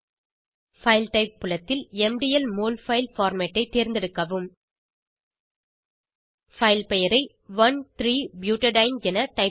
file type புலத்தில் MDL molfile format ஐ தேர்ந்தெடுக்கவும் பைல் பெயரை 13 பியூட்டேடின் என டைப் செய்க